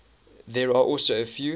there are also a few